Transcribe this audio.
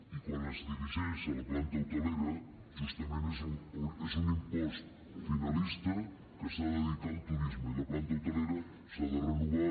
i quan es dirigeix a la planta hotelera justament és un impost finalista que s’ha de dedicar al turisme i la planta hotelera s’ha de renovar actualitzar i millorar